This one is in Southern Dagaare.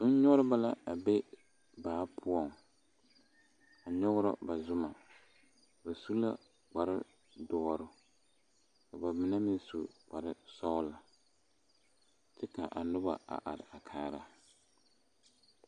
zunnyɔgreba la be baa poɔŋ a nyɔgrɔ ba zuma ba su la kparre doɔre ka ba mine meŋ su kparre sɔglɔ kyɛ ka a noba a are kaara.